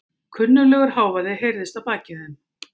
Kunnuglegur hávaði heyrðist að baki þeim.